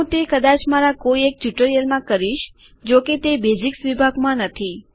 હું તે કદાચ મારા કોઈ એક ટ્યુટોરીયલમાં આ કરીશ જોકે તે બેઝિક્સ વિભાગમાં નથી